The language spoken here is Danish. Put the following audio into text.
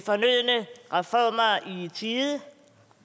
tide